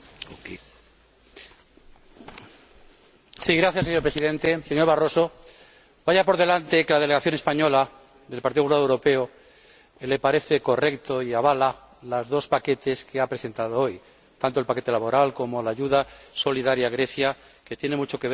Señor Presidente, señor Barroso, vaya por delante que a la delegación española del Partido Popular Europeo le parecen correctos y avala los dos paquetes que ha presentado hoy, tanto el paquete laboral como la ayuda solidaria a Grecia, que tiene mucho que ver con la coherencia de su planteamiento. Es innegable, Señorías,